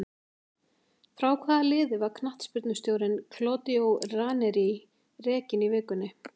Frá hvaða liði var knattspyrnustjórinn Claudio Ranieri rekinn í vikunni?